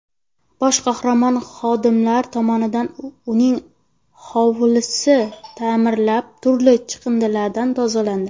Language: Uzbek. Boshqarma xodimlari tomonidan uning hovlisi ta’mirlanib, turli chiqindilardan tozalandi.